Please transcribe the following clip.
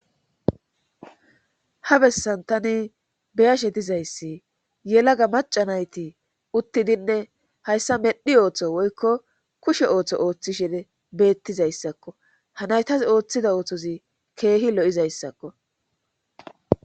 ha bessantane beyashe dizayssi yelaga macanayti uttidinne hayssa medhi ooththo woykko kushe ooththo ooththishene beettizayssakko hanaytas ooththida oothozi keehi lo7izayssakko